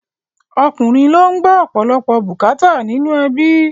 Ọkùnrin ló ń gbọ́ ọ̀pọ̀lọpọ̀ bùkátà nínú ẹbí